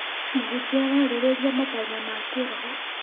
Mũhunjia ararĩrĩria matanya ma kĩroho.